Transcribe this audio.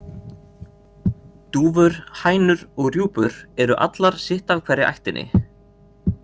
Dúfur, hænur og rjúpur eru allar sitt af hverri ættinni.